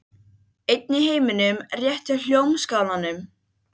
Hún rak okkur af stað í áttina að ranghölunum.